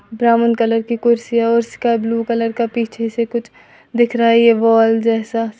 Brown colour की कुर्सी और उसका ब्लू कलर का पीछे से कुछ दिख रहा है यह वॉल जैसा सा।